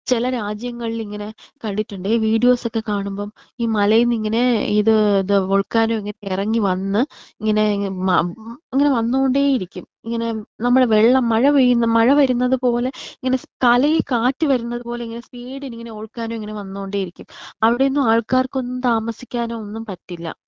ചില രാജ്യങ്ങളിൽ ഇങ്ങനെ കണ്ടിട്ടുണ്ട് ഈ വീഡിയോസ് ഒക്കെ കാണുമ്പോ ഈ മലയിന്ന് ഇങ്ങനെ ഇത് ദ വോൾകാനോ ഇറങ്ങിവന്ന് ഇങ്ങനെ ഉം ഇങ്ങനെ വന്നോണ്ടേ ഇരിക്കും. ഇങ്ങനെ നമ്മള് വെള്ളം മഴ പെയ്യുന്ന മഴ വരുന്നത് പോലെ ശ് ഇങ്ങനെ തലയിൽ കാറ്റ് വരുന്നത് പോലെ ഇങ്ങനെ സ്പീഡിൽ ഇങ്ങനെ വോൾകാനോ ഇങ്ങനെ വന്നോണ്ടെ ഇരിക്കും. അവിടെയൊന്നും ആൾക്കാർക്ക് ഒന്നും താമസിക്കാൻ ഒന്നും പറ്റില്ല.